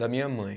Da minha mãe.